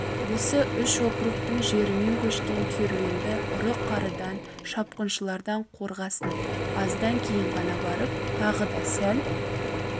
осы үш округтің жерімен көшкен керуенді ұры-қарыдан шапқыншылардан қорғасын аздан кейін ғана барып тағы да сәл